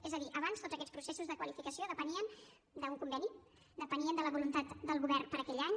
és a dir abans tots aquests processos de qualificació depenien d’un conveni depenien de la voluntat del govern per a aquell any